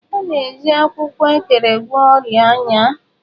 A na-eji akwụkwọ Ekere gwọọ ọrịa anya.